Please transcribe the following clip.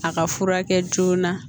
A ka furakɛ joona